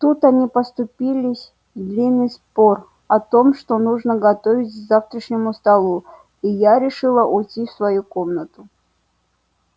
тут они поступились в длинный спор о том что нужно готовить к завтрашнему столу и я решила уйти в свою комнату